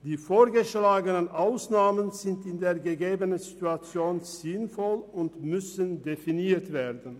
Die vorgeschlagenen Ausnahmen sind in der gegebenen Situation sinnvoll und müssen definiert werden.